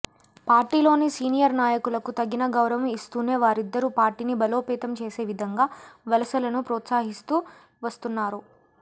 పార్టీలోని సీనియర్ నాయకులకు తగిన గౌరవం ఇస్తూనే వారిద్దరు పార్టీని బలోపేతం చేసే విధంగా వలసలను ప్రోత్సహిస్తూ వస్తున్నారు